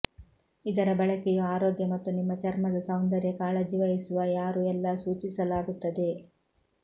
ಇದರ ಬಳಕೆಯು ಆರೋಗ್ಯ ಮತ್ತು ನಿಮ್ಮ ಚರ್ಮದ ಸೌಂದರ್ಯ ಕಾಳಜಿವಹಿಸುವ ಯಾರು ಎಲ್ಲಾ ಸೂಚಿಸಲಾಗುತ್ತದೆ